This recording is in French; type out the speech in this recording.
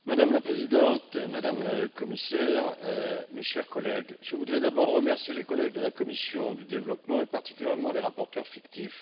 Madame la Présidente, Madame le Commissaire, mes chers collègues, je voudrais d'abord remercier les collègues de la commission du développement, et particulièrement les rapporteurs fictifs.